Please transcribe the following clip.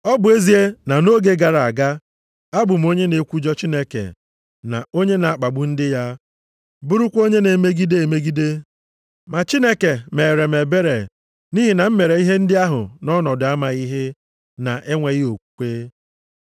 Ọ bụ ezie na nʼoge gara aga, abụ m onye na-ekwujọ Chineke na onye na-akpagbu ndị ya, bụrụkwa onye na-emegide emegide. Ma Chineke meere m ebere nʼihi na m mere ihe ndị ahụ nʼọnọdụ amaghị ihe, na enweghị okwukwe.